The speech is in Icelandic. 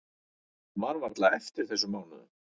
Maður man varla eftir þessum mánuðum.